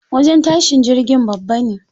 Wajen tashin jirgin babba ne.